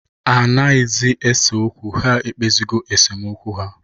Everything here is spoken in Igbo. Ha anaghịzị ese okwu. Ha ekpezigo esemokwu ha